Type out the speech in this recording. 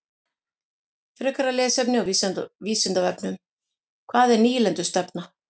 Frekara lesefni á Vísindavefnum: Hvað er nýlendustefna?